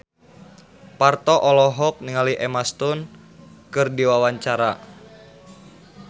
Parto olohok ningali Emma Stone keur diwawancara